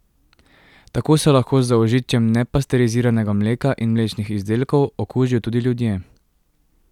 Tako se lahko z zaužitjem nepasteriziranega mleka in mlečnih izdelkov okužijo tudi ljudje.